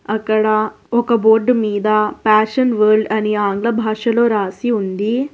అక్కడ ఒక బోర్డు మీద ఫ్యాషన్ వోల్డ్ అని ఆంగ్ల భాషలో రాసి ఉంది.